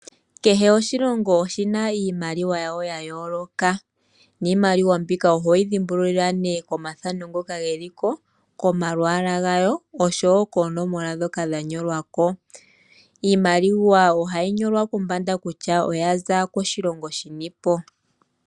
Kehe oshilongo oshina iimaliwa yayo ya yooloka, niimaliwa mbika ohoyi dhimbululile ko mathano ngoka geliko, komalwaala oshowo koonomola ndhoka dhanyolwa ko. Iimaliwa ohayi nyolwa kombanda kutya oyaza koshilongo shinipo.